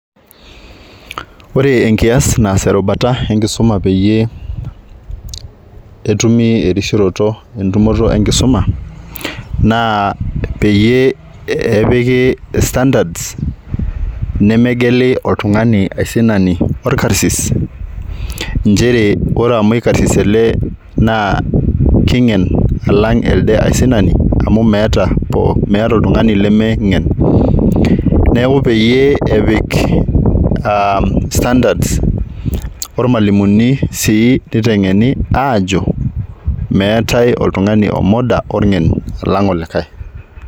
Ore enkias naas erubata enkisuma peyie etumi erishuroto entumoroto enkisuma naa peyie epiki standards , nemegeli oltungani aisinani orkarsis , nchere ore amu ikarsis ele naa kingen alang elde aisinani amu meeta , meeta oltungani lemingen neeku peyie epik aa standards ormwalimuni sii nitengeni aajo meetae oltungani omoda orngen alang olikae.